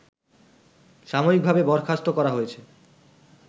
সাময়িকভাবে বরখাস্ত করা হয়েছে